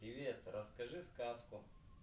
привет расскажи сказку